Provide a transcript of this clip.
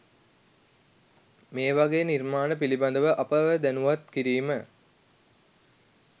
මේවගේ නිර්මාණ පිළිබඳව අපව දැනුවත් කිරීම